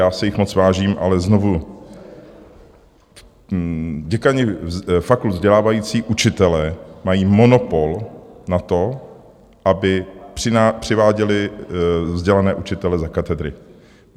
Já si jich moc vážím, ale znovu - děkani fakult vzdělávající učitele mají monopol na to, aby přiváděli vzdělané učitele za katedry.